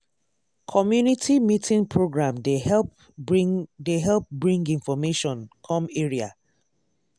community meeting program dey help bring dey help bring information come area.